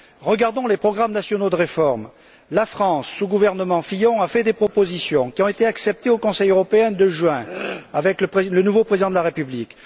Regardons les programmes nationaux de réformes la France, sous le gouvernement Fillon, a fait des propositions qui ont été acceptées au Conseil européen de juin, avec le nouveau président de la République.